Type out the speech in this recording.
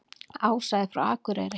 Ása er frá Akureyri.